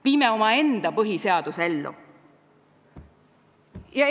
Viime omaenda põhiseaduse ellu!